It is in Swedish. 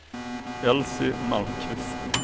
Elsy Malmqvist